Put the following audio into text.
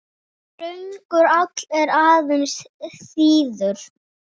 Þröngur áll er aðeins þíður.